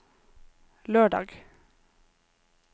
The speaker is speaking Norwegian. lørdag